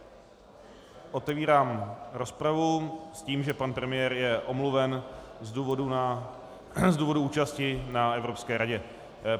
Otevírám rozpravu s tím, že pan premiér je omluven z důvodu účasti na Evropské radě.